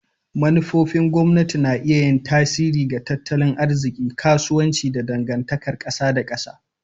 Manufofin gwamnati na iya yin tasiri ga tattalin arziki, kasuwanci, da dangantakar kasa da kasa.